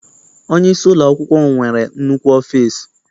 Onyeisi ụlọakwụkwọ m nwere nnukwu ọfịịsi.